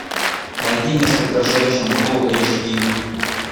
найди несколько женщин фул эйч ди